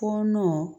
Fɔɔnɔ